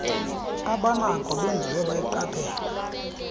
abanako benziwe bayiqaphela